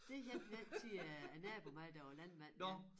Det hjalp vi altid øh æ nabo med der var landmand med